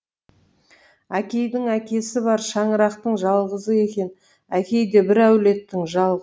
әкейдің әкесі бір шаңырақтың жалғызы екен әкей де бір әулеттің жалғызы